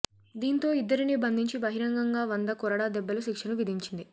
దీంతో ఇద్దరినీ బంధించి బహిరంగంగా వంద కొరడా దెబ్బల శిక్షను విధించింది